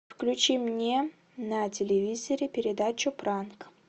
включи мне на телевизоре передачу пранк